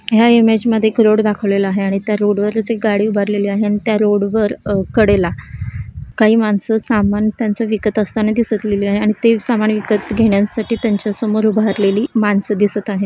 ह्या इमेज मध्ये एक रोड दाखवलेला आहे आणि त्या रोड वर अस एक गाडी उभारलेली आहे अन त्या रोड वर कडेला काही माणसं सामान त्यांचं विकत असताना दिसत लिहिले आहे आणि ते सामान विकत घेण्यांसाठी त्यांच्यासमोर उभारलेली माणसं दिसत आहे.